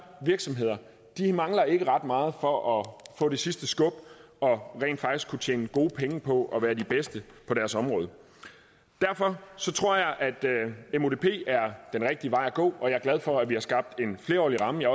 virksomheder mangler ikke ret meget for at få det sidste skub og rent faktisk kunne tjene gode penge på at være de bedste på deres område derfor tror jeg at mudp er den rigtige vej at gå og jeg er glad for at vi har skabt en flerårig ramme jeg